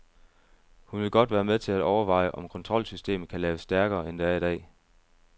Hun vil godt være med til at overveje, om kontrolsystemet kan laves stærkere, end det er i dag.